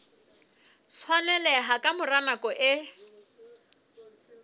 tshwaneleha ka mora nako e